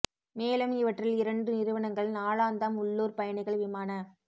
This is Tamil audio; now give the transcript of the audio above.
மேலும் இவற்றில் இரண்டு நிறுவனங்கள் நாளாந்தம் உள்ளூர் பயணிகள் விமான